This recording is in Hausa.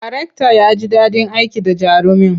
Darektan ya ji daɗin aiki da jarumin.